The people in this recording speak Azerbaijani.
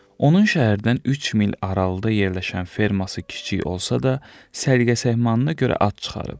Onun şəhərdən üç mil aralıda yerləşən ferması kiçik olsa da, səliqə-səhmanına görə ad çıxarıb.